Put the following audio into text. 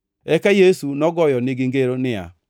Eka Yesu nogoyo nigi ngero ni: